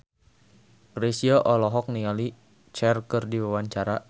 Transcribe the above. Chrisye olohok ningali Cher keur diwawancara